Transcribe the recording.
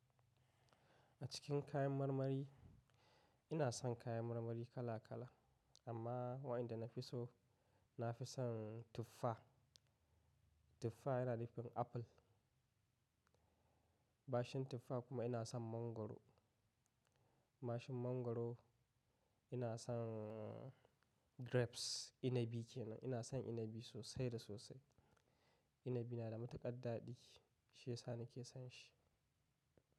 A cikin kayan marmari ina son kayan marmari kala kala amma waƴnda na fi so, na fi son tuffa. Tuffa yana nufin apple. Bashin tuffa kuma ina son mangwaro. Bashin mangwaro ina son, grapes, inabi kenan. Ina son inabi sosai da sosai. Inabi na da matuƙa dadi shiyasa nike son shi.